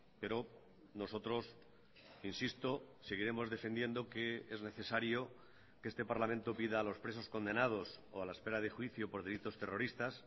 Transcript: pero nosotros insisto seguiremos defendiendo que es necesario que este parlamento pida a los presos condenados o a la espera de juicio por delitos terroristas